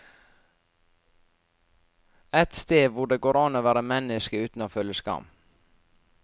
Et sted hvor det går an å være menneske uten å føle skam.